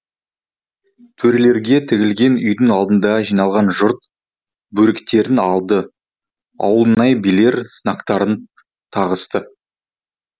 төрелерге тігілген үйдің алдына жиналған жұрт бөріктерін алды ауылнай билер знактарын тағысты